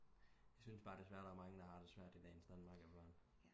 Jeg syntes bare desværre der er mange der har det svært i dagens Danmark efter hånden